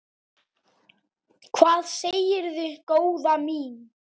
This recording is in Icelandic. Hvað segirðu góða mín?